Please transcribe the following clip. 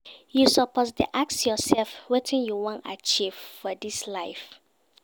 You suppose dey ask yoursef wetin you wan achieve for dis life.